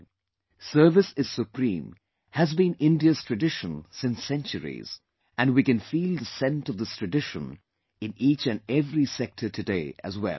"Service is Supreme" has been India's tradition since centuries and we can feel the scent of this tradition in each and every sector today as well